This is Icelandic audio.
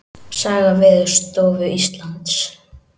Saga Veðurstofu Íslands.